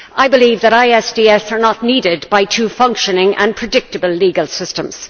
I believe that ISDS are not needed by two functioning and predictable legal systems.